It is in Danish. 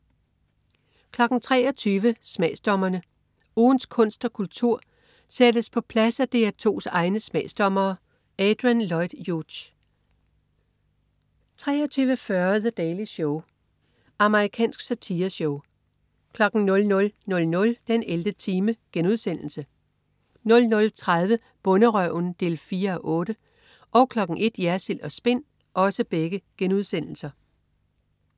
23.00 Smagsdommerne. Ugens kunst og kultur sættes på plads af DR2's egne smagsdommere. Adrian Lloyd Hughes 23.40 The Daily Show. Amerikansk satireshow 00.00 den 11. time* 00.30 Bonderøven 4:8* 01.00 Jersild & Spin*